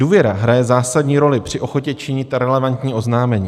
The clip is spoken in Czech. Důvěra hraje zásadní roli při ochotě činit relevantní oznámení.